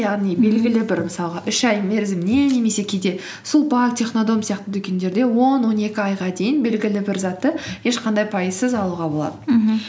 яғни белгілі бір мысалға үш ай мерзіміне немесе кейде сулпак технодом сияқты дүкендерде он он екі айға дейін белгілі бір затты ешқандай пайызсыз алуға болады мхм